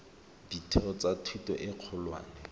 ditheo tsa thuto e kgolwane